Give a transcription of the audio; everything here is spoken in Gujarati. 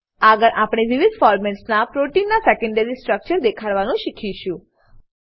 આગળ આપણે વિવિધ ફોરમેટસ મા પ્રોટીનના સેકેન્ડરી સ્ટ્રક્ચર દેખાડવાનું શીખીશું